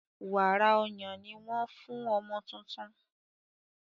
wàrà ọyàn ní wón fún ọmọ títún.